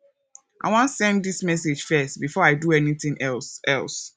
i wan send dis message first before i do anything else else